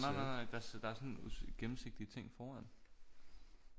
Nej nej der er sådan gennemsigtig ting foran